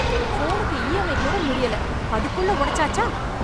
ஃபோனுக்கு E M I கூட முடியல. அதுக்குள்ள ஒடச்சாச்சா?